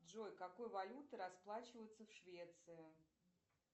джой какой валютой расплачиваются в швеции